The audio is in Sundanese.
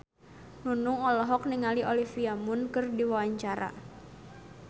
Nunung olohok ningali Olivia Munn keur diwawancara